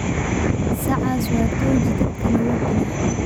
Saacas waa tooji dadkana uudilax.